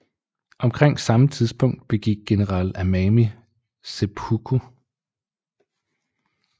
Omkring samme tidspunkt begik general Anami seppuku